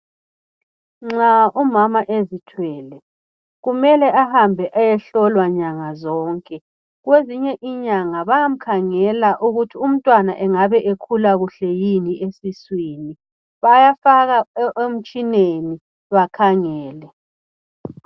Nxa umama ezithwele kumele ahambe ayehlolwa nyanga zonke kwezinye inyanga bayamkhangela ukuthi umntwana engabe ekhula kuhle yini esiswini bayafaka emitshineni bakhangele.